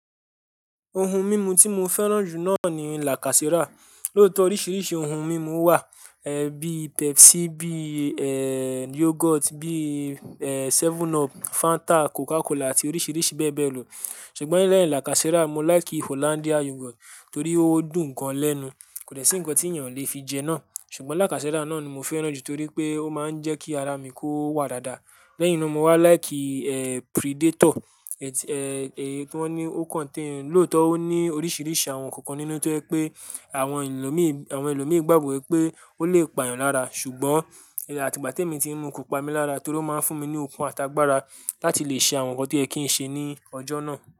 Ohun mímu tí mo fẹ́ràn jù náà ni lacasera. Lóòótọ́ oríṣiríṣi ohun mímu wà, ẹ́ bí Pepsi, bí eeh yoghurt, bí eeh 7up, Fanta, Coca Cola àti oríṣiríṣi bẹ́ẹ̀ bẹ́ẹ̀ lọ. Ṣùgbọ́n lẹ́yìn lacasera, mo láìkì Hollandia yoghurt torí ó dùn gan-an lẹ́nu. Kò dẹ sì ǹkan tí ènìyàn ò lè fi jẹ náà. Ṣùgbọ́n lacasera náà ni mo fẹ́ràn jù torí pé ó máa ń jẹ́ kí ara mi kó wà dáadáa. Lẹ́yìn náà mo wá láìkì eeh Predator, ẹ́ti eeh tí wón ní ó kàn ti ń. Lóòótọ́ ó ní oríṣiríṣi àwọn ǹkan nínú tó ẹ́ pé àwọn ẹlòmíì, àwọn ẹlòmíì gbàgbọ́ pé ó lè pa èèyàn lára, ṣùgbọ́n àti ìgbà tí mo ti ń mu kò pa mí lára torí ó máa ń fún mi ní okun àtàgbàra láti lè ṣe àwọn ǹkan tó yẹ kí ń ṣe ní ọjọ́ náà.